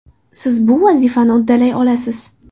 Siz bu vazifani uddalay olasiz!